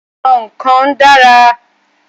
Àwọn kan dára.